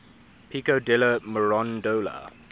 pico della mirandola